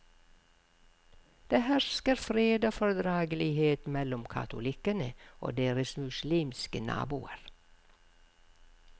Det hersker fred og fordragelighet mellom katolikkene og deres muslimske naboer.